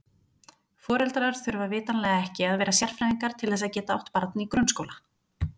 Foreldrar þurfa vitanlega ekki að vera sérfræðingar til þess að geta átt barn í grunnskóla.